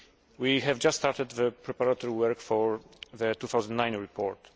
We have just started the preparatory work for the 2009 report.